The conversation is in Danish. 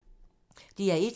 DR1